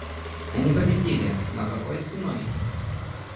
они победили но какой ценой